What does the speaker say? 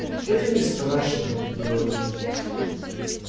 это не страшно говорит